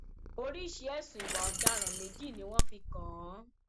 oríṣìí ẹsùn ìwà ọdaràn méjì ni wọn fi kàn án